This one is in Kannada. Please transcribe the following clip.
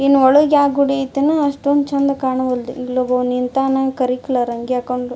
ಇನ್ ಒಳಗ್ ಯಾವ್ ಗುಡಿ ಆಯ್ತೆನೋ ಅಷ್ಟೊಂದು ಚಂದ್ ಕಾಣವಲ್ದು ಇಲೊಬ್ಬವ್ ನಿಂತನ್ ಕರಿ ಕಲರ್ ಅಂಗಿ ಹಾಕೊಂಡು.